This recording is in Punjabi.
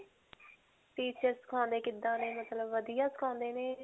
teacher ਸਿਖਾਉਂਦੇ ਕਿੱਦਾਂ ਨੇ ਮਤਲਬ ਵਧੀਆ ਸਿਖਾਉਂਦੇ ਨੇ?